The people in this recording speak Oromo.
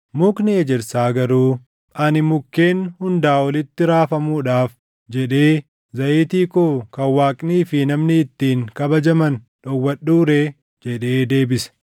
“Mukni ejersaa garuu, ‘Ani mukkeen hundaa olitti raafamuudhaaf jedhee zayitii koo kan Waaqnii fi namni ittiin kabajaman dhowwadhuu ree?’ jedhee deebise.